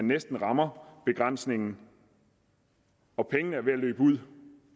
næsten rammer begrænsningen og pengene er ved at løbe ud